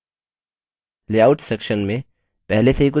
layouts section में पहले से ही कुछ सैम्पल लेआउट्स मौजूद हैं